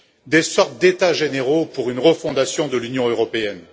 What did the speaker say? des sortes d'états généraux pour une refondation de l'Union européenne.